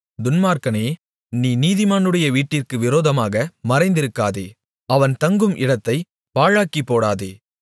துன்மார்க்கனே நீ நீதிமானுடைய வீட்டிற்கு விரோதமாக மறைந்திருக்காதே அவன் தங்கும் இடத்தைப் பாழாக்கிப்போடாதே